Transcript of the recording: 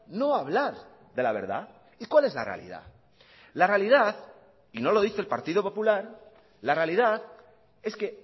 no hablar de la verdad y cuál es la realidad la realidad y no lo dice el partido popular la realidad es que